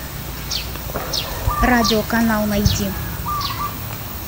радиоканал найди